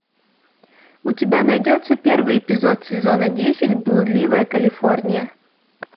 у тебя найдется первый эпизод сезона десять блудливая калифорния